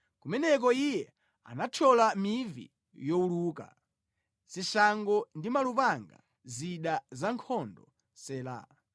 Kumeneko Iye anathyola mivi yowuluka, zishango ndi malupanga, zida zankhondo. Sela